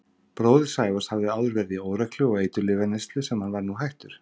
Bróðir Sævars hafði áður verið í óreglu og eiturlyfjaneyslu sem hann var nú hættur.